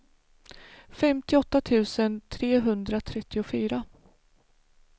femtioåtta tusen trehundratrettiofyra